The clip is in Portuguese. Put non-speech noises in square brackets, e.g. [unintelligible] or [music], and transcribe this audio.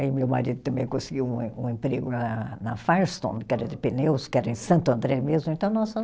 Aí meu marido também conseguiu um em, um emprego na na Firestone, que era de pneus, que era em Santo André mesmo, então nós [unintelligible]